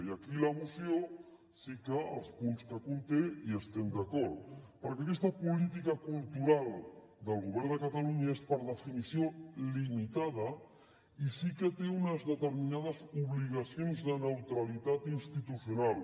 i aquí la moció sí que amb els punts que conté hi estem d’acord perquè aquesta política cultural del govern de catalunya és per definició limitada i sí que té unes determinades obligacions de neutralitat institucional